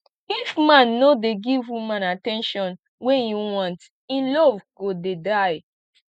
if man no dey give woman at ten tion wey e want e love go dey die